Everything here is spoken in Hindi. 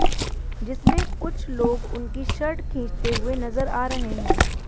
जिसमें कुछ लोग उनकी शर्ट खींचते हुए नजर आ रहे हैं